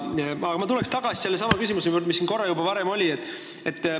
Aga ma tulen tagasi sellesama küsimuse juurde, mis siin juba varem jutuks oli.